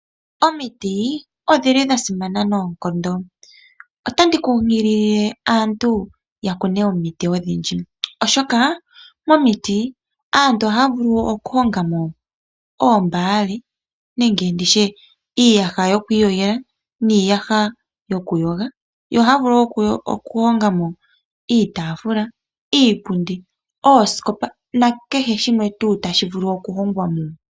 Omiti odha simana noonkondo. Otandi kunkilile aantu ya kune omiti odhindji, oshoka aantu ohaya kunu omiti. Aantu ohaya vulu okuhonga mo iiyaha yoku iyogela niinyaha yokuyogela. Ohaya vulu wo okuhonga mo iitaafula, iipundi, oosikopa nakehe shimwe tuu tashi vulu okuhongwa mo.